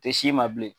Tɛ s'i ma bilen